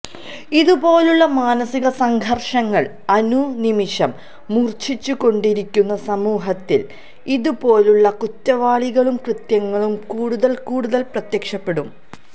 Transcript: ഇതുപോലുള്ള മാനസിക സംഘർഷങ്ങൾ അനുനിമിഷം മൂർച്ഛിച്ചുകൊണ്ടിരിക്കുന്ന സമൂഹത്തിൽ ഇതുപോലുള്ള കുറ്റവാളികളും കൃത്യങ്ങളും കൂടുതൽ കൂടുതൽ പ്രത്യക്ഷപ്പെടും